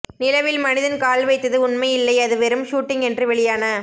நிலவில் மனிதன் கால்வைத்தது உண்மையில்லை அது வெறும் ஷூட்டிங் என்று வெளியான